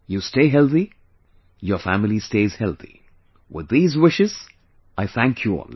You stay healthy, your family stays healthy, with these wishes, I thank you all